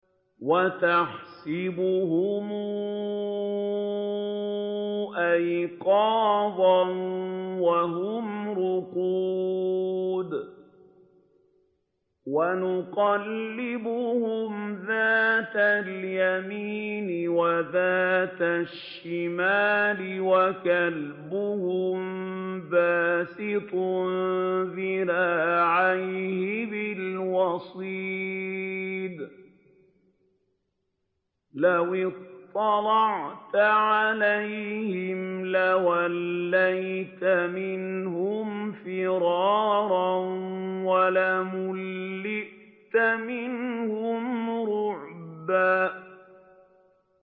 وَتَحْسَبُهُمْ أَيْقَاظًا وَهُمْ رُقُودٌ ۚ وَنُقَلِّبُهُمْ ذَاتَ الْيَمِينِ وَذَاتَ الشِّمَالِ ۖ وَكَلْبُهُم بَاسِطٌ ذِرَاعَيْهِ بِالْوَصِيدِ ۚ لَوِ اطَّلَعْتَ عَلَيْهِمْ لَوَلَّيْتَ مِنْهُمْ فِرَارًا وَلَمُلِئْتَ مِنْهُمْ رُعْبًا